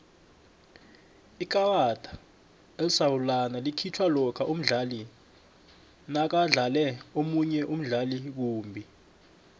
ikarada elisarulana likhitjhwa lokha umdlali nakadlale omunye umdlali kumbi